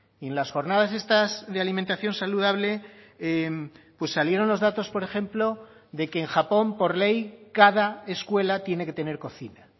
y en las jornadas estas de alimentación saludable salieron los datos por ejemplo de que en japón por ley cada escuela tiene que tener cocina